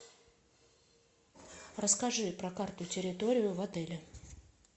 расскажи про карту территории в отеле